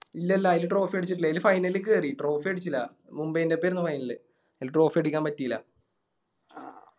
ഇല്ലല്ലാ അയില് Trophy അടിച്ചിട്ടില്ല അയില് Final ല്ക്ക് കേറി Trophy അടിച്ചില്ല മുംബൈൻറെ ഓപ്പർന്നു Final അയില് Trophy അടിക്കാൻ പറ്റില്ല